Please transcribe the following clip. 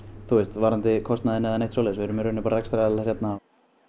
varðandi kostnaðinn eða neitt svoleiðis við erum bara rekstraraðilar hérna